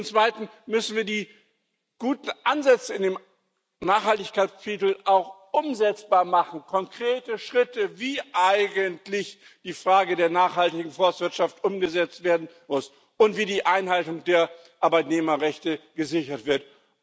Zum Zweiten müssen wir die guten Ansätze in dem Nachhaltigkeitskapitel auch umsetzbar machen, konkrete Schritte, wie eigentlich die Frage der nachhaltigen Forstwirtschaft umgesetzt werden muss und wie die Einhaltung der Arbeitnehmerrechte gesichert wird.